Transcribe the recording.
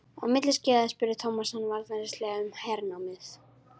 Á milli skeiða spurði Thomas hann varfærnislega um hernámið.